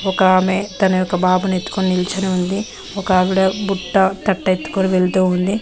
ఒక ఆమె తన యొక్క బాబు నెత్తుకుని నిలిచింది ఒక ఆవిడ బుట్ట తట్టె ఎత్తుకొని వెళ్తూ ఉంది.